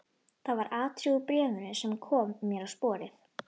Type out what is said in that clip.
Það var atriði úr bréfinu sem kom mér á sporið.